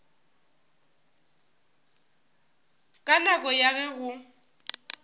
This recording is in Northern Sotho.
ka nako ya ge go